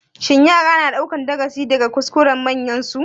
Shin yara na ɗaukan darasi daga kuskuren manyansu?